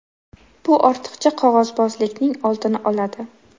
Bu ortiqcha qog‘ozbozlikning oldini oladi.